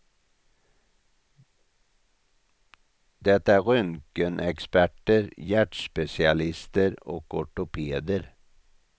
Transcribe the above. Det är röntgenexperter, hjärtspecialister och ortopeder.